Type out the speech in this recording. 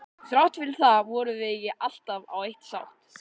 Þrátt fyrir það vorum við ekki alltaf á eitt sátt.